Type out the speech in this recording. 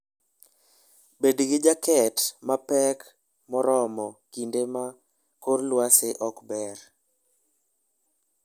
Bed gi jaket mapek moromo kinde ma kor lwasi ok ber.